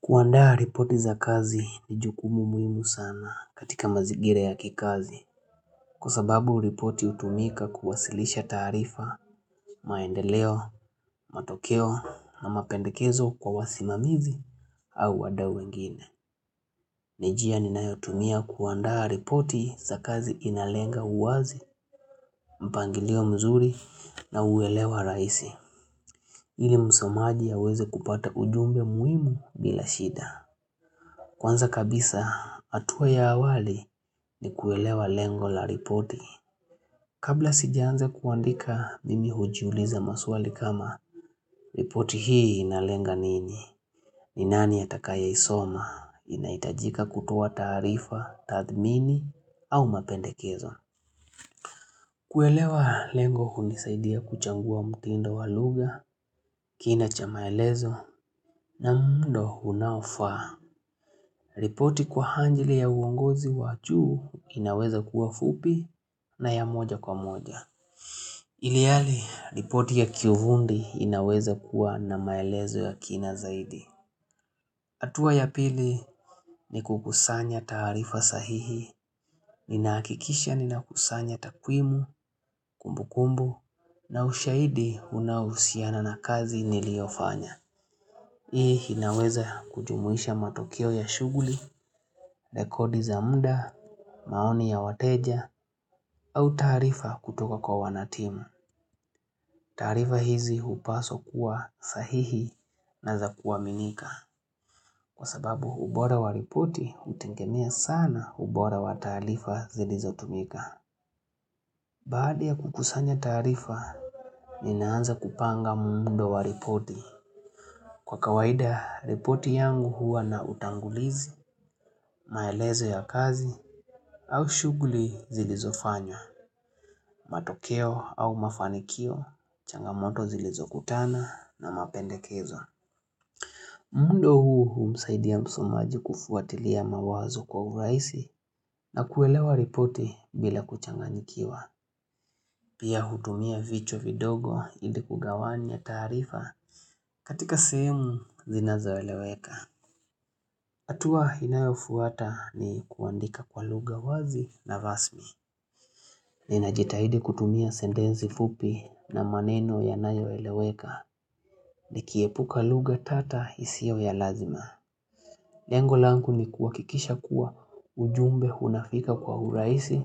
Kuandaa ripoti za kazi ni jukumu muhimu sana katika mazigira ya kikazi Kwa sababu ripoti hutumika kuwasilisha taarifa maendeleo, matokeo na mapendekezo kwa wasimamizi au wadau wengine ni njia ni nayotumia kuandaa ripoti za kazi inalenga uwazi, mpangilio mzuri na uelewa rahisi ili msomaji aweze kupata ujumbe muhimu bila shida Kwanza kabisa, hatua ya awali ni kuelewa lengo la ripoti. Kabla sijaanza kuandika mimi hujiuliza maswali kama, ripoti hii inalenga nini? Ni nani atakaye isoma? Inahitajika kutoa taarifa, tathmini, au mapendekezo. Kuelewa lengo hunisaidia kuchagua mutindo walugha, kina cha maelezo, na muundo unaofaa. Ripoti kwa anjili ya uongozi wajuu inaweza kuwa fupi na ya moja kwa moja. Ilihali, ripoti ya kiufundi inaweza kuwa na maelezo ya kina zaidi. Hatua ya pili ni kukusanya taarifa sahihi. Ninahakikisha nina kusanya takwimu, kumbu kumbu, na ushahidi unahusiana na kazi niliofanya. Hii inaweza kujumuisha matokeo ya shughuli, rekodi za mda, maoni ya wateja au taarifa kutoka kwa wanatimu. Taarifa hizi hupaswa kuwa sahihi na za kua minika. Kwa sababu ubora wa ripoti hutegemea sana ubora wa taarifa zilizo tumika. Baada ya kukusanya taarifa, ninaanza kupanga muundo wa ripoti. Kwa kawaida, ripoti yangu huwa na utangulizi, maelezo ya kazi, au shughuli zilizofanywa, matokeo au mafanikio, changamoto zilizokutana na mapendekezo. Muundo huu huu husaidia msomaji kufuatilia mawazo kwa urahisi na kuelewa ripoti bila kuchanganyikiwa. Pia hutumia vichwa vidogo ili kugawanya taarifa katika sehemu zinazoeleweka. Hatua inayofuata ni kuandika kwa lugha wazi na rasmi. Ninajitahidi kutumia sentensi fupi na maneno yanayo eleweka nikiepuka lugha tata isio ya lazima. Lengo langu ni kuhakikisha kuwa ujumbe unafika kwa urahisi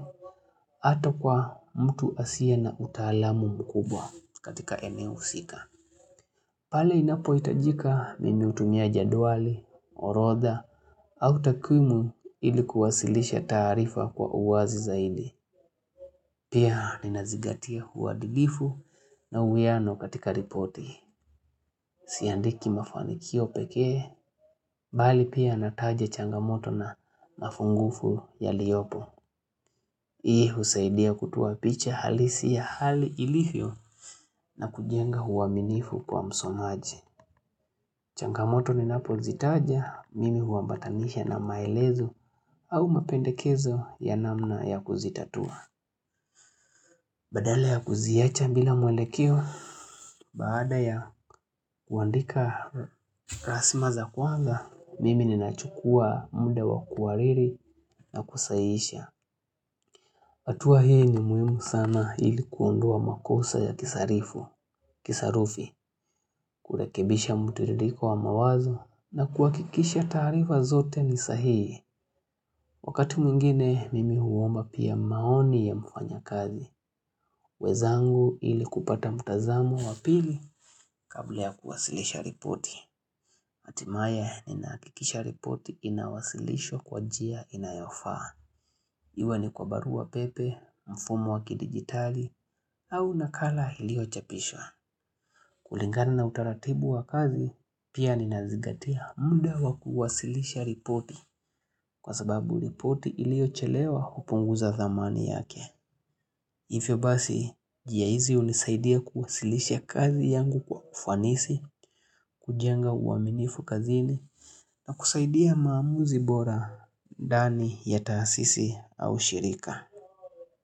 ata kwa mtu asiye na utaalamu mkubwa katika eneo husika. Pale inapohitajika mimi hutumia jedwali, orotha, au takwimu ilikuwasilisha taarifa kwa uwazi zaidi. Pia ninazigatia uadilifu na uwiano katika ripoti. Siandiki mafanikio pekee, bali pia nataja changamoto na nafungufu yaliopo. Hii husaidia kutoa picha halisi ya hali ilivyo na kujenga uaminifu kwa msomaji. Changamoto ni napo zitaja, mimi huambatanisha na maelezo au mapendekezo ya namna ya kuzitatua. Badala ya kuziacha bila mwelekeo, baada ya kuandika rasma za kwanza, mimi ni nachukua mda wa kuhariri na kusahihisha. Hatua hii ni muhimu sana ilikuondoa makosa ya kisarifu, kisarufi, kurekebisha mtiririko wa mawazo na kuhakikisha taarifa zote ni sahihi. Wakati mwingine, mimi huomba pia maoni ya mfanya kazi. Wezangu ili kupata mtazamo wa pili kabla kuwasilisha ripoti. Hatimaye ninahakikisha ripoti inawasilishwa kwa njia inayofaa. Iwe ni kwa barua pepe, mfumo waki digitali, au nakala iliyo chapishwa. Kulingana na utaratibu wa kazi, pia ni nazigatia mda wa kuwasilisha ripoti. Kwa sababu ripoti iliyo chelewa hupunguza dhamani yake. Hivyo basi, njia hizi unisaidia kuwasilisha kazi yangu kwa ufanisi, kujenga uaminifu kazini, na kusaidia maamuzi bora ndani ya taasisi au shirika.